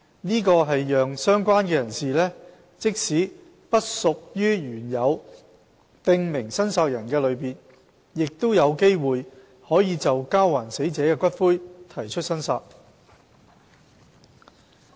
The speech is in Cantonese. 這讓"相關人士"即使不屬於原有"訂明申索人"的類別，亦有機會可就交還死者的骨灰提出申索。